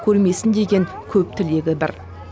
көрмесін деген көп тілегі бір